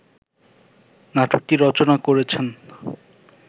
নাটকটি রচনা করেছেন